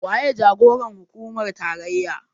Waye jagoran hukumar tarayya?